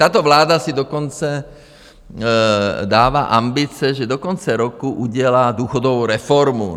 Tato vláda si dokonce dává ambice, že do konce roku udělá důchodovou reformu.